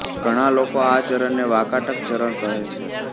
ઘણાં લોકો આ ચરણને વાકાટક ચરણ કહે છે